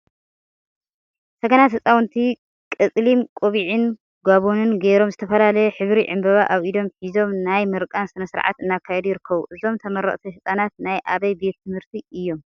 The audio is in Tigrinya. ሰገናት ህፃውንቲ ቀፀሊም ቆቢዕን ጋቦንን ገይሮም ዝተፈላለየ ሕብሪ ዕምበባ አብ ኢዶም ሒዞም ናይ ምርቃ ስነ ስርዓት እናካየዱ ይርከቡ፡፡ እዞም ተመረቅቲ ህፃናት ናይ አበይ ቤት ትምህርቲ እዮም?